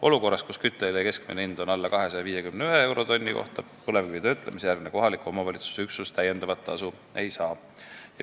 Olukorras, kus kütteõli keskmine hind on alla 251 euro tonni kohta, põlevkivitöötlemise asukoha kohaliku omavalitsuse üksus lisatasu ei saa.